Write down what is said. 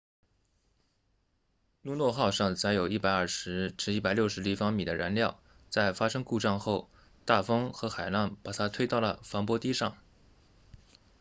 luno 号上载有 120-160 立方米的燃料在发生故障后大风和海浪把它推到了防波堤上